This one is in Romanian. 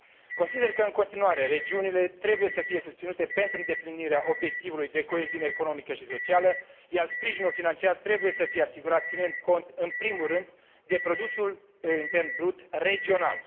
Consider că, în continuare, regiunile trebuie să fie susținute pentru îndeplinirea obiectivului de coeziune economică și socială, iar sprijinul financiar trebuie să fie asigurat ținând cont în primul rând de produsul intern brut regional.